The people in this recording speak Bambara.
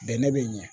Bɛnɛ be ɲɛ